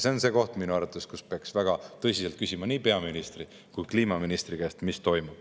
See on minu arvates see koht, kus peaks väga tõsiselt küsima nii peaministri kui ka kliimaministri käest, mis toimub.